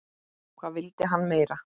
Hvað vildi hann meira?